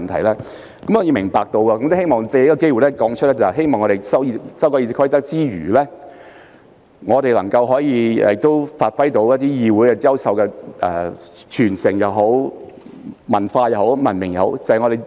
我理解這一點並希望藉此機會指出，在修改《議事規則》之餘，也希望能發揮議會優秀的傳承、文化及文明。